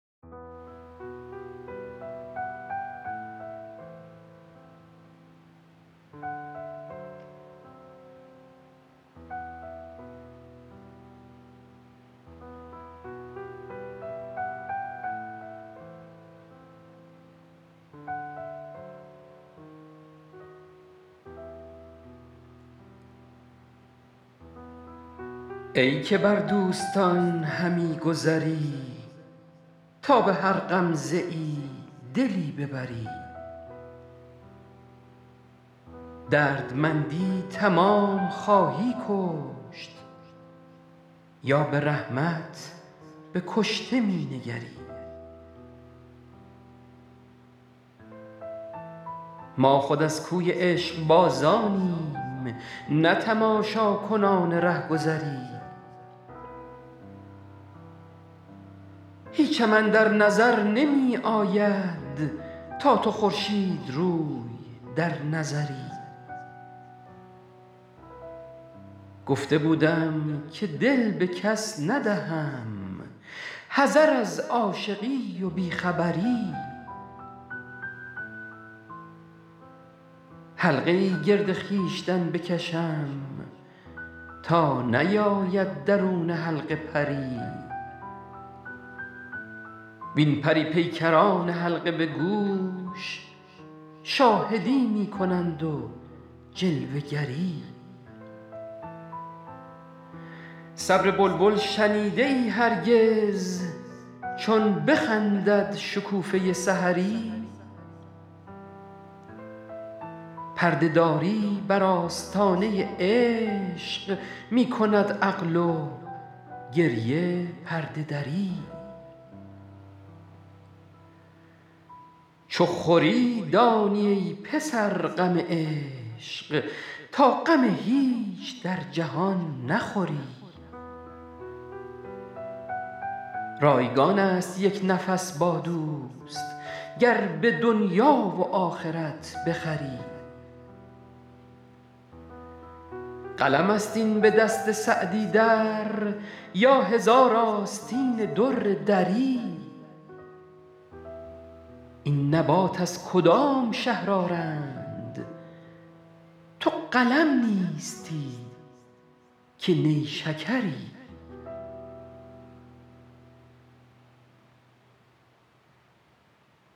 ای که بر دوستان همی گذری تا به هر غمزه ای دلی ببری دردمندی تمام خواهی کشت یا به رحمت به کشته می نگری ما خود از کوی عشقبازانیم نه تماشاکنان رهگذری هیچم اندر نظر نمی آید تا تو خورشیدروی در نظری گفته بودم که دل به کس ندهم حذر از عاشقی و بی خبری حلقه ای گرد خویشتن بکشم تا نیاید درون حلقه پری وین پری پیکران حلقه به گوش شاهدی می کنند و جلوه گری صبر بلبل شنیده ای هرگز چون بخندد شکوفه سحری پرده داری بر آستانه عشق می کند عقل و گریه پرده دری چو خوری دانی ای پسر غم عشق تا غم هیچ در جهان نخوری رایگان است یک نفس با دوست گر به دنیا و آخرت بخری قلم است این به دست سعدی در یا هزار آستین در دری این نبات از کدام شهر آرند تو قلم نیستی که نیشکری